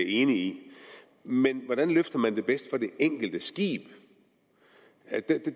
enig i men hvordan løfter man det bedst for det enkelte skib